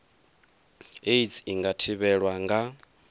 aids i nga thivhelwa nga